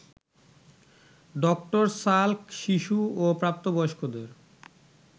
ডঃ Salk শিশু ও প্রাপ্তবয়স্কদের